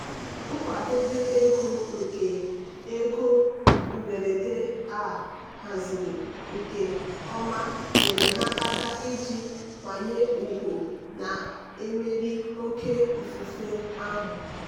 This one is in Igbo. nkwadebe ego nke ego mberede a haziri nke ọma nyeere ha aka iji nkwanye ùgwù na-emeri oké ifufe ahụ.